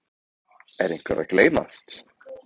Er einhver að gleymast?